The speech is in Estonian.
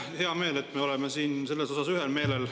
Mul on hea meel, et me oleme selles osas ühel meelel.